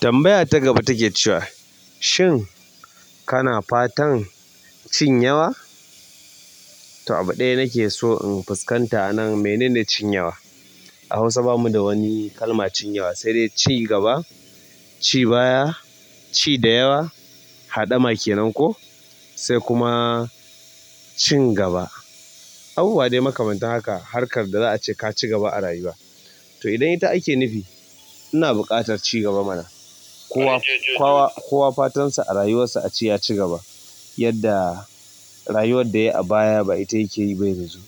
Tambaya ta gaba take cewa, shin kana fatan cin yawa? To abu ɗaya nake so in fuskanta anan menene cin yawa? A Hausa bamu da wani kalmar cin yawa sai dai ci gaba, ci baya, ci da yawa, haɗama kenan ko sai kuma cin gaba. Abubuwa dai makamantan haka harkar da za a ce ka ci gaba a rayuwa. To idan ita ake nufi, ina buƙatar ci gaba mana. Kowa, kowa, kowa fatansa a rayuwarsa a ce ya ci gaba yadda rayuwar da ya yi a baya ba ita yake yi ba yanzu.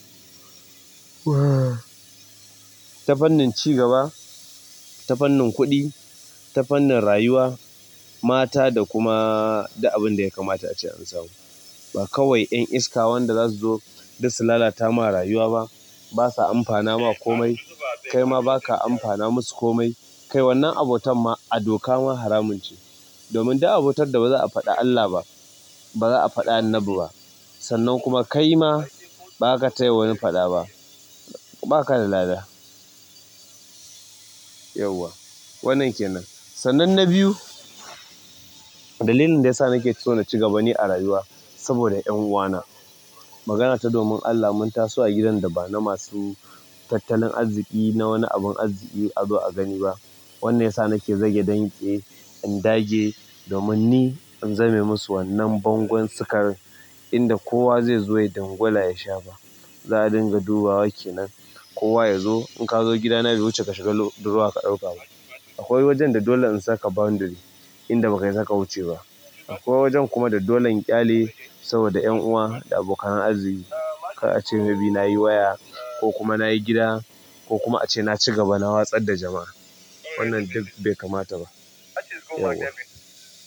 Ta fannin ci gaba, ta fannin kuɗi, ta fannin rayuwa, mata da kuma, duk abin da ya kamata ce an samu. Ba kawai 'yan iska wanda za su zo duk su lalata ma rayuwa ba, basu amfana ma komai. Kaima baka amfana musu komai. Kai wannan abotan ma a doka ma haramun ce. Domin duk abotar da ba za a faɗi Allah ba, baza a faɗi Annabi ba. Sannan kuma kai ma baka taya wani faɗa ba. Baka da lada. Yauwa. Wannan kenan. Sannan na biyu, dalilin da ya sa nake so na ci gaba ni a rayuwa saboda 'yan uwana. Magana ta domin Allah mun taso a gidan da ba na masu tattalin arziƙi na wani abun arziƙi a zo a gani ba. Wannan ya sa nake zage damtse in dage domin ni in zame musu wannan bangon sukarin inda kowa zai zo ya dangwala ya sha ba. Za a dinga dubawa kenan. Kowa ya zo in ka zo gidana bai wuce ka shiga drawer ka ɗauka ba. Akwai wajen da dole in saka boundary inda ba ka isa ka wuce ba. Akwai wajen kuma da dole in ƙyale saboda 'yan uwa da abokan arziƙi. Ka ce maybe nayi waya ko kuma nayi gida ko kuma ace na ci gaba na watsar da jama'a. Wannan duk bai kamata ba, yauwa.